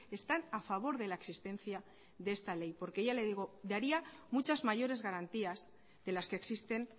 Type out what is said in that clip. están a favor de la existencia de esta ley porque ya le digo daría muchas mayores garantías de las que existen